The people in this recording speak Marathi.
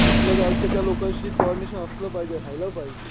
आपल्या गावची तर लोक अशी असलं पाहिजे रहायल पाहिजे.